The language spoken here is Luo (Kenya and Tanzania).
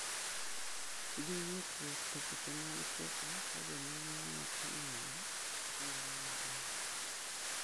Gi ng'ikruok e seche mag chopo ka jomenyo nokong'iyo mano maber